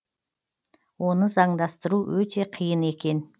оны заңдастыру өте қиын